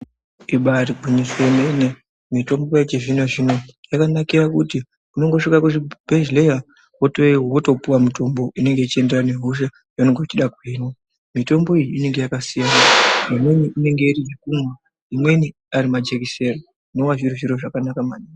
Ibaiari gwinyiso yemene mitombo yechizvino zvino yakanakire kuti unongosvika kuchibhedhlera wotopuwa mutombo inenge uchienderana nehosha yaunenge uchida kuhinwa, mitombo yacho inenge yakasiyana imweni inenge iri yekumwa imweni ari majekiseni zvinova zviri zviro zvakanaka maningi.